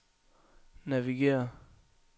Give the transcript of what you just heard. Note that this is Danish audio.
navigér